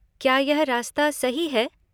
क्या यह रास्ता सही है?